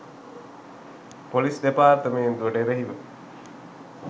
police දෙපාර්තමේන්තුවට එරෙහිව